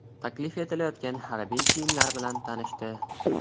Taklif etilayotgan harbiy kiyimlar bilan tanishdi.